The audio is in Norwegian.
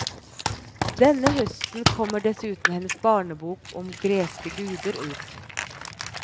Denne høsten kommer dessuten hennes barnebok om greske guder ut.